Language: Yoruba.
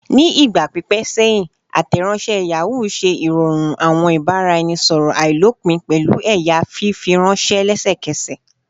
Ni igba pipẹ sẹhin, Ateronse Yahoo ṣe irọrun awọn ibaraẹnisọrọ ailopin pẹlu ẹya fifiranṣẹ lẹsẹkẹsẹ